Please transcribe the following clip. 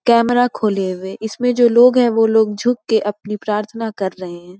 Camera खोले हुए इसमें जो लोग हैं वो झुक के अपनी प्रार्थना कर रहे हैं।